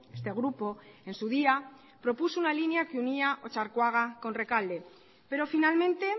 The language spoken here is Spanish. este grupo en su día propuso una línea que unía otxarkoaga con rekalde pero finalmente